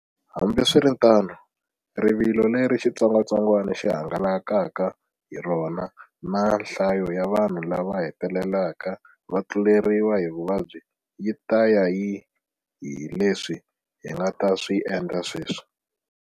Hambiswiritano, rivilo leri xitsongwatsongwana xi hangalakaka hi rona na nhlayo ya vanhu lava hetelelaka va tluleriwa hi vuvabyi yi ta ya hi leswi hi nga ta swi endla sweswi.